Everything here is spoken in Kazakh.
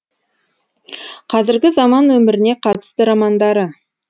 қазіргі заман өміріне қатысты романдары